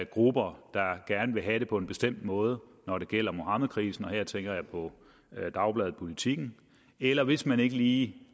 grupper der gerne vil have det på en bestemt måde når det gælder muhammedkrisen og her tænker jeg på dagbladet politiken eller hvis man ikke lige